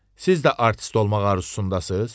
Siz də artist olmağa arzusundasız?